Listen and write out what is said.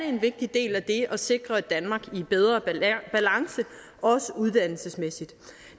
en vigtig del af det at sikre et danmark i bedre balance også uddannelsesmæssigt